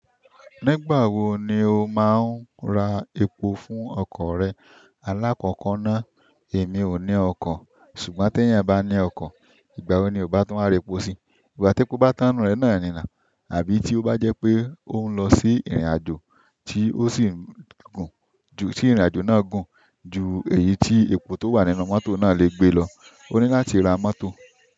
Nígbà wo ni o maa n ra epo fún oko re. Alákọ̀kọ́ náà, "Èmi ò ní ọkọ̀, ṣùgbọ́n tí ènìyàn bá ní ọkọ̀, ìgbà wo ni ó bá tún wáa r'epo si? Ìgbà tí epo bá tán nù rẹ̀ náà ni náu, àbí tí ó bá jẹ́ pé ó ń lọ sí ìrìnàjò tí ó sì gùn, ju tí ìrìnàjò náà gùn ju èyí tí epo tó wà nínú mọ́tò náà le gbé lọ, ó ní láti ra mọ́tò."